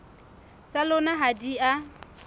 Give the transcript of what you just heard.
tsa lona ha di a